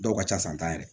Dɔw ka ca san tan yɛrɛ